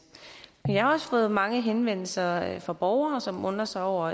men jeg har også fået mange henvendelser fra borgere som undrer sig over